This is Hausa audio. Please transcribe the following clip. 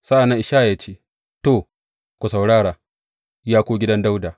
Sa’an nan Ishaya ya ce, To, ku saurara, ya ku gidan Dawuda!